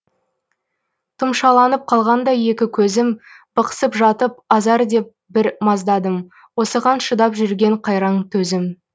тұмшаланып қалғандай екі көзім бықсып жатып азар деп бір маздадым осыған шыдап жүрген қайран төзім